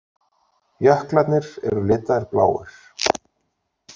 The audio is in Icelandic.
Jöklarnir eru litaðir bláir.